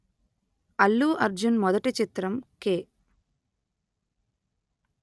అల్లు అర్జున్ మొదటి చిత్రం కె